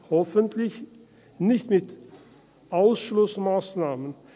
– Hoffentlich nicht mit Ausschlussmassnahmen.